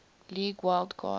league wild card